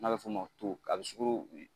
N'a bɛ fɔ o ma a bɛ sukaro